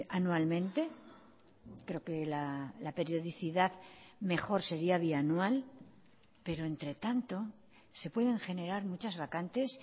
anualmente creo que la periodicidad mejor sería bianual pero entre tanto se pueden generar muchas vacantes